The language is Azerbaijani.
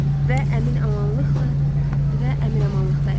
Və əmin-amanlıqla və əmin-amanlıqdayam.